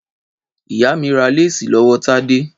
Ìyá mi rà léèsì lọ́wọ́ Tádé.